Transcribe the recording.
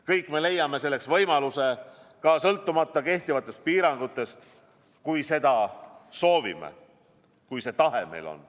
Kõik me leiame selleks võimaluse ka sõltumata kehtivatest piirangutest, kui seda soovime, kui see tahe meil on.